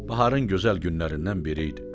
Baharın gözəl günlərindən biri idi.